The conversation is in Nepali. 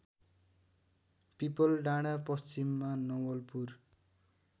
पिपलडाँडा पश्चिममा नवलपुर